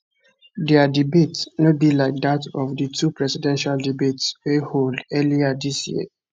dia debate no be like dat of di two presidential debates wey hold earlier dis year